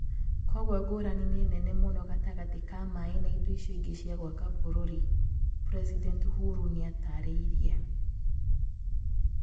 Kwoguo ngũrani nĩ nene mũno gatagatĩ ka maĩ na indo icio ĩngi cia gwaka vururi" President Uhuru nĩataarĩirie.